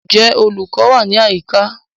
Ǹjẹ́ olùkọ́ wà ní àyíká?